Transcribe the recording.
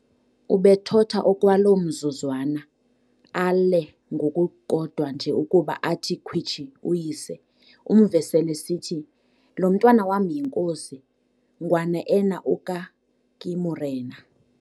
Ubethotha okwaloo mzuzwana, aale ngokukodwa nje ukuba athi khwitshi uyise, umve sel'esithi, "Lo mntwana wam yinkosi - Nguana eena oa ka ke morena."